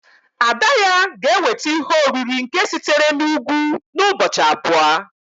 ada-ya gēweta ihe-oriri nke sitere n'Ugwu n'ubọchi abua